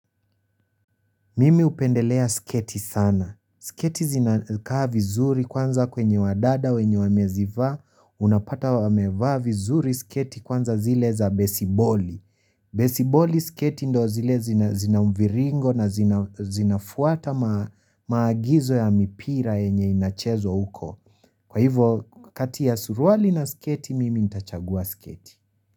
Mimi, hupendelea sketi sana. Sketi zinakaa vinzuri kwanza kwenye wadada wenye wamezivaa. Unapata wamevaa vinzuri siketi kwanza zile za besiboli. Besiboli siketi, ndo zile zina zinamviringo na zina zinafuata maagizo ya mipira yenye inachezwa huko. Kwa hivyo, kati ya suruali na siketi mimi nitachagua siketi.